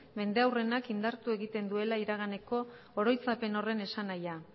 mendeurrenak indartu egiten duela iraganeko oroitzapen horren esanahia